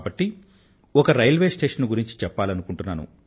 కాబట్టి ఒక railway station ను గురించి చెప్పాలనుకుంటున్నాను